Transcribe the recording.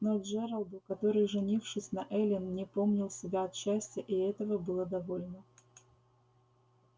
но джералду который женившись на эллин не помнил себя от счастья и этого было довольно